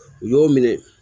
U y'o minɛ